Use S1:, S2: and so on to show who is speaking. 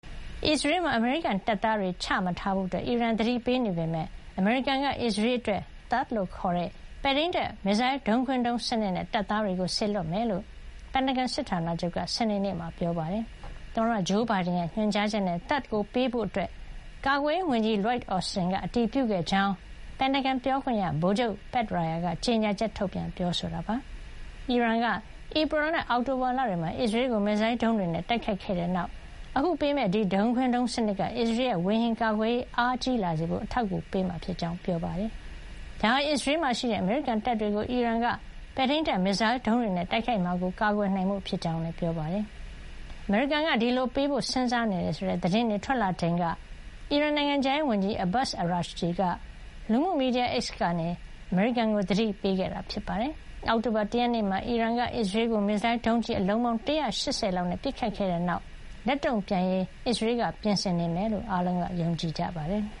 S1: အစ္စရေးမှာ အမေရိကန်တပ်သားတွေချမထားဖို့ အီရန်ကသတိပေးနေပေမယ့် အမေရိကန်က အစ္စရေးအတွက် THAAD လို့ခေါ်တဲ့ ပဲ့ထိန်းတပ် မစ်ဇိုင်းဒုံးခွင်းဒုံးစနစ်နဲ့ တပ်သားတွေကို စေလွှတ်မှာ ဖြစ်ကြောင်း ပင်တဂွန်စစ်ဌာနချုပ်က စနေနေ့မှာ ပြောပါတယ်။ သမ္မတဂျိုးဘိုင်ဒန်ရဲ့ ညွှန်ကြားချက်နဲ့ THAAD ကိုပေးဖို့ ကာကွယ်ရေးဝန်ကြီး Lloyd Austin က အတည်ပြုခဲ့ကြောင်း ပင်တဂွန်ပြောခွင့်ရ ဗိုလ်ချုပ် Pat Ryder က ကြေညာချက်ထုတ်ပြန်ပါတယ်။ အီရန်က ဧပြီနဲ့ အောက်တိုဘာလတွေမှာ အစ္စရေးကို မစ်ဇိုင်းဒုံးတွေနဲ့တိုက်ခိုက်ခဲ့ပြီးတဲ့နောက် အခု ပေးမယ့် ဒီဒုံးခွင်းဒုံးစနစ်က အစ္စရေးရဲ့ ဝေဟင်ကာကွယ်ရေးအားကြီးလာစေဖို့ အထောက်အကူပေးမှာ ဖြစ်ကြောင်းလည်း ပြောပါတယ်။ ဒါဟာ အစ္စရေးမှာရှိတဲ့အမေရိကန်တွေကို အီရန်က ပဲ့ထိန်းတပ် မစ်ဇိုင်းဒုံးတွေနဲ့ တိုက်ခိုက်မှာကို ကာကွယ်နိုင်ဖို့ဖြစ်ကြောင်းနဲ့ အစ္စရေးကာကွယ်ရေးအတွက် အမေရိကန်ပေးထားတဲ့ ကတိတည်ဖို့ ဖြစ်ကြောင်း ပြောပါတယ်။ အမေရိကန်က ဒီလိုပေးအပ်ဖို့ စဉ်းစားနေတယ်ဆိုတဲ့ သတင်းတွေထွက်လာချိန်က အီရန်နိုင်ငံခြားရေးဝန်ကြီး အဘတ်စ် အရာချီက လူမှုမီဒီယာ X ကနေ အမေရိကန်ကို သတိပေးထားတာ ဖြစ်ပါတယ်။ အောက်တိုဘာ ၁ ရက်နေ့မှာ အီရန်က အစ္စရေးကို မစ်ဇိုင်းဒုံးကျည်အလုံးပေါင်း ၁၈၀ လောက်နဲ့ ပစ်ခတ်ခဲ့ပြီးတဲ့နောက် ဒါကို လက်တုံ့ပြန်ဖို့ အစ္စရေးဘက်က ပြင်ဆင်နေမယ်လို့ အများက ယုံကြည်ကြပါတယ်။